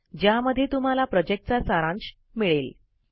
ज्यामध्ये तुम्हाला प्रॉजेक्टचा सारांश मिळेल